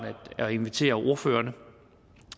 at invitere ordførerne